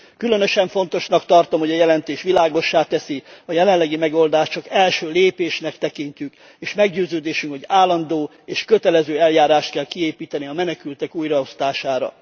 Különösen fontosnak tartom, hogy a jelentés világossá teszi, a jelenlegi megoldást csak első lépésnek tekintjük, és meggyőződésünk, hogy állandó és kötelező eljárást kell kiépíteni a menekültek újraosztására.